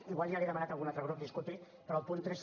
igual ja li ho ha demanat algun altre grup disculpi però el punt tres